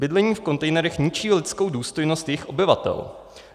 Bydlení v kontejnerech ničí lidskou důstojnost jejich obyvatel.